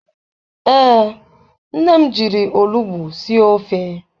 Ee, nne m jiri olugbu sie ofe.